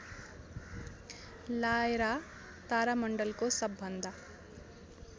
Lyra तारामण्डलको सबभन्दा